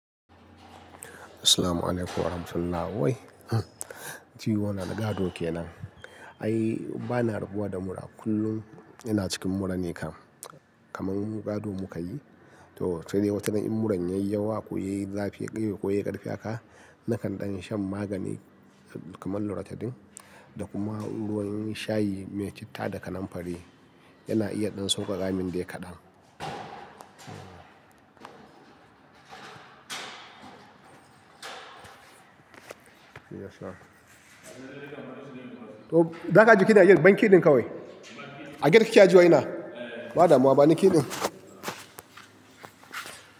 Assalamualaikum warahmatullahi wabarakatuh. Wai Jtiyola gado kenan. Ai ba na rabuwa da mura kullum ina cikin mura ne kam, kaman gado muka yi. To sai dai watan in muran yayi yawa ko yayi zafi ko yayi karfi haka, nakan ɗan shan magani kamar loratadine da kuma ruwan shayi me citta da kananfari, yana iya ɗan sauƙaƙa min dai kaɗan. To daga jiki na yi, ban kiɗin ka wai? A gida kika ajiye wa ina? Ba da mu ba, bani kiɗin.